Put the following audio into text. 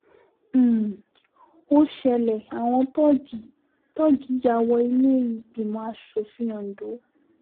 um ó ṣẹlẹ̀ àwọn tóògì tóògì ya wọ ilé-ìgbìmọ̀ asòfin ondo